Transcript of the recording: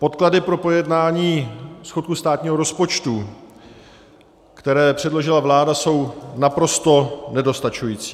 Podklady pro projednání schodku státního rozpočtu, které předložila vláda, jsou naprosto nedostačující.